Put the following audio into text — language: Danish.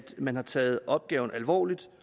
man har taget opgaven alvorligt